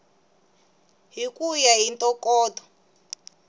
hi ku ya hi ntokoto